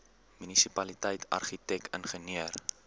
munisipaliteit argitek ingenieur